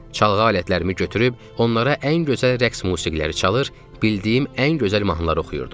Çalğı alətlərimi götürüb onlara ən gözəl rəqs musiqiləri çalır, bildiyim ən gözəl mahnılar oxuyurdum.